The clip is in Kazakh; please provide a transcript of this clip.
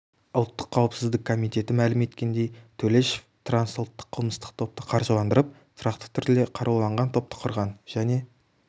ұлттқ қауіпсіздік комитеті мәлім еткендей төлешов трансұлттық қылмыстық топты қаржыландырып тұрақты түрде қаруланған топты құрған және